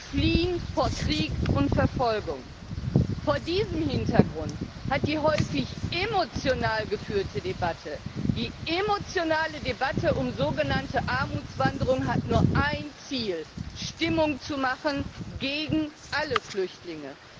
Sie fliehen vor Krieg und Verfolgung. Vor diesem Hintergrund hat die häufig emotional geführte Debatte um sogenannte Armutswanderung nur ein Ziel Stimmung zu machen gegen alle Flüchtlinge.